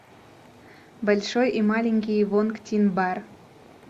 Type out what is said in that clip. большой и маленький вонг тин бар